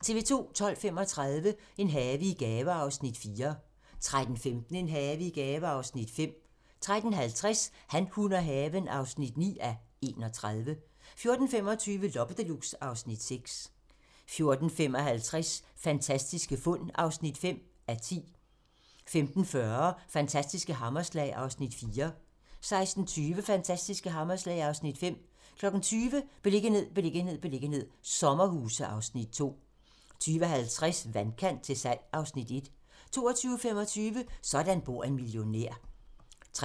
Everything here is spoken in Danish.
12:35: En have i gave (Afs. 4) 13:15: En have i gave (Afs. 5) 13:50: Han, hun og haven (9:31) 14:25: Loppe Deluxe (Afs. 6) 14:55: Fantastiske fund (5:10) 15:40: Fantastiske hammerslag (Afs. 4) 16:20: Fantastiske hammerslag (Afs. 5) 20:00: Beliggenhed, beliggenhed, beliggenhed - sommerhuse (Afs. 2) 20:50: Vandkant til salg (Afs. 1) 22:25: Sådan bor en milliardær